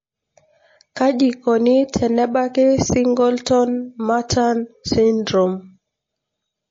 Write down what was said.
kaji ikoni tenebaki Singleton Merten syndrome?